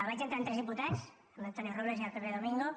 vaig entrar amb tres diputats amb l’antonio robles i el pepe domingo